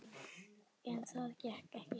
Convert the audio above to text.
En það gekk ekki.